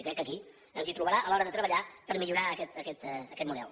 i crec que aquí ens hi trobarà a l’hora de treballar per millorar aquest model